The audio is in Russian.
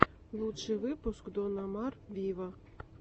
лучший выпуск дон омар виво